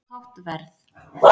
Of hátt verð